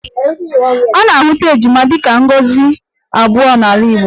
A na-ahụta ejima dịka ngọzi abụọ n'ala Igbo